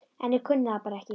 En ég kunni það bara ekki.